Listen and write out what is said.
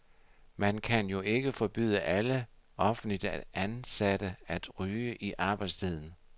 Man kan jo ikke forbyde alle offentligt ansatte at ryge i arbejdstiden.